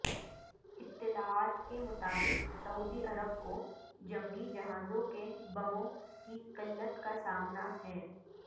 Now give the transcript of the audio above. اطلاعات کے مطابق سعودی عرب کو جنگی جہازوں کے بموں کی قلت کا سامنا ہے